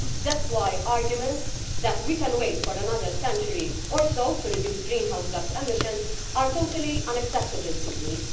That is why arguments that we can wait for another century or so to reduce greenhouse gas emissions are totally unacceptable to me.